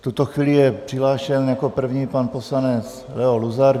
V tuto chvíli je přihlášen jako první pan poslanec Leo Luzar.